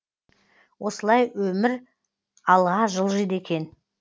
осылай өмір алға жылжиды екен